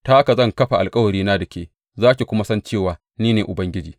Ta haka zan kafa alkawarina da ke, za ki kuma san cewa ni ne Ubangiji.